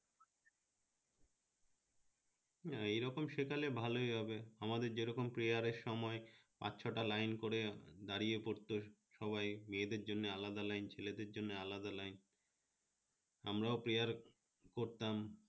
হ্যাঁ এরকম শেখালে ভালই হবে আমাদের যেরকম prayer এর সময় পাচ ছটা line করে দাড়িয়ে পড়তো সবাই মেয়েদের জন্য আলাদা line ছেলেদের জন্য আলাদা line আমরাও prayer করতাম